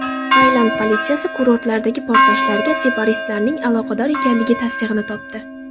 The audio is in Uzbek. Tailand politsiyasi kurortlardagi portlashlarga separatistlarning aloqador ekanligi tasdig‘ini topdi.